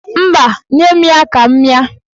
Mba, nye m ya ka m mịa.